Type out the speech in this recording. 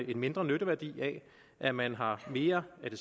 en mindre nytteværdi af at man har mere af det